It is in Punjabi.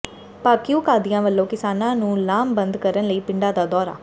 ਭਾਕਿਯੂ ਕਾਦੀਆਂ ਵੱਲੋਂ ਕਿਸਾਨਾਂ ਨੂੰ ਲਾਮਬੰਦ ਕਰਨ ਲਈ ਪਿੰਡਾਂ ਦਾ ਦੌਰਾ